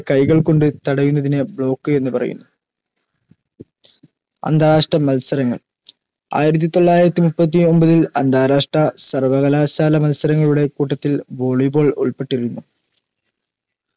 കൈകൾ കൊണ്ട് തടയുന്നതിന് block എന്ന് പറയുന്നു അന്താരാഷ്ട്ര മത്സരങ്ങൾ ആയിരത്തി തൊള്ളായിരത്തി മുപ്പത്തിയൊമ്പതിൽ അന്താരാഷ്ട്ര സർവ്വകലാശാല മത്സരങ്ങളുടെ കൂട്ടത്തിൽ volley ball ഉൾപ്പെട്ടിരുന്നു